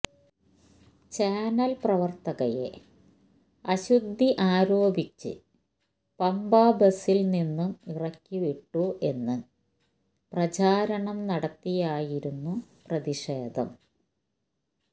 channel പ്രവര്ത്തകയെ അശുദ്ധി ആരോപിച്ച് പമ്പാ ബസില് നിന്നും ഇറക്കിവിട്ടു എന്ന് പ്രചാരണം നടത്തിയായിരുന്നു പ്രതിഷേധം